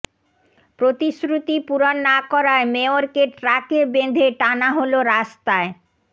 প্রতিশ্রুতি পূরণ না করায় মেয়রকে ট্রাকে বেঁধে টানা হলো রাস্তায়